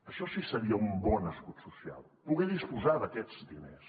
això sí que seria un bon escut social poder disposar d’aquests diners